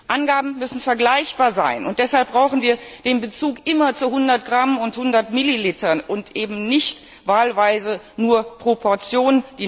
Angaben müssen vergleichbar sein, deshalb brauchen wir den Bezug immer zu 100 Gramm und 100 Millilitern und die Nährwertangabe eben nicht wahlweise nur pro Portion.